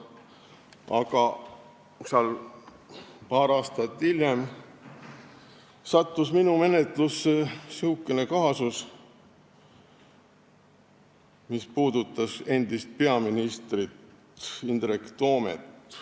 Aga paar aastat hiljem sattus minu menetlusse kaasus, mis puudutas endist peaministrit Indrek Toomet.